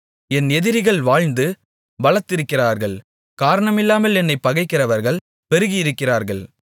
என் எதிரிகள் வாழ்ந்து பலத்திருக்கிறார்கள் காரணமில்லாமல் என்னைப் பகைக்கிறவர்கள் பெருகியிருக்கிறார்கள்